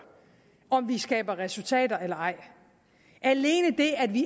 om vi skaber resultater eller ej alene det at vi